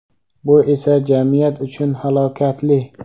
bu esa jamiyat uchun halokatli.